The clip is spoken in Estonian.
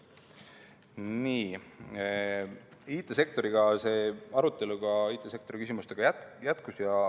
Nii, IT‑sektori küsimustega see arutelu ka jätkus.